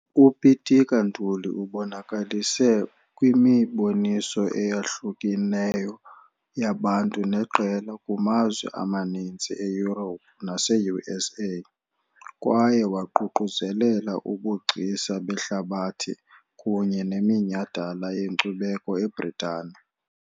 UPitika Ntuli ubonakalise kwimiboniso eyahlukeneyo yabantu neqela kumazwe amaninzi e-Europe nase-USA, kwaye waququzelela ubugcisa behlabathi kunye neminyhadala yenkcubeko eBritane.